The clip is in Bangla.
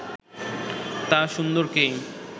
তা সুন্দরকেই